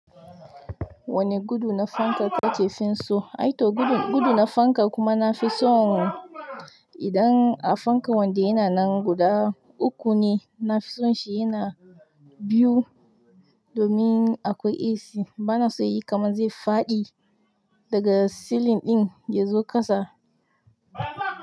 Wani gudu na fanka ta cefin so, ai to gudu na fanka kuma na fi so idan a fanka wanda yana nan guda uku ne. Na fi son shi yana biyu domin akwai AC. Bana so ya yi kamar zai faɗi daga silin ɗin din ya zo ƙasa.